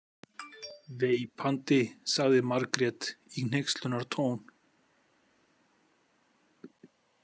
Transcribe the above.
Veipandi, sagði Margrét í hneykslunartón.